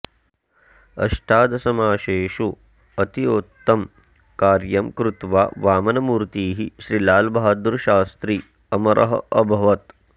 अष्टादशमासेषु अतीवोत्तमं कार्यं कृत्वा वामनमूर्तिः श्री लालबहदुरशास्त्री अमरः अभवत्